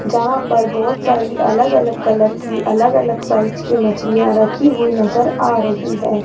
जहां पर बहोत सारी अलग अलग कलर की अलग अलग साइज की मछलियां रखी हुई नजर आ रही है।